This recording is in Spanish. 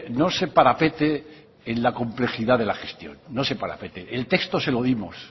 no se parapete en la complejidad de la gestión no se parapete el texto se lo dimos